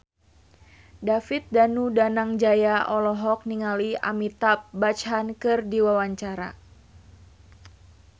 David Danu Danangjaya olohok ningali Amitabh Bachchan keur diwawancara